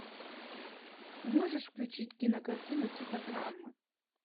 можешь включить кинокартину типа драмы